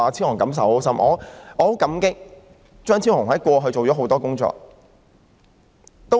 我十分感激張超雄議員過去做了多項工作。